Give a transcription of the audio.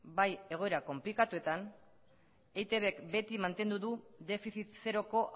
bai egoera konplikatuetan eitbk beti mantendu du defizit zeroko